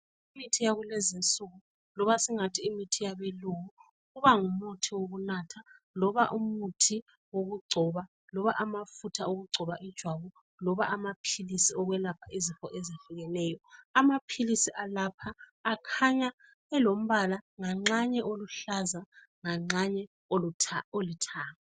Imithi yakulezi nsuku loba singathi imithi yabelungu kuba ngumuthi wokunatha loba umuthi wokugcoba loba amafutha wokugcoba ijwabu loba amaphilisi okwelapha izifo ezihlukeneyo amaphilisi alapha akhanya elombala nganxanye oluhlaza nganxanye olithanga.